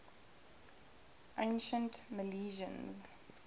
ancient milesians